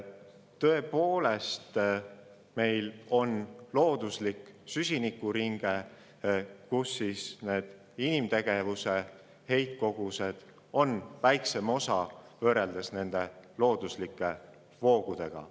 Tõepoolest, meil on looduslik süsinikuringe, kust inimtegevuse heitkogused moodustavad väiksema osa võrreldes looduslike voogudega.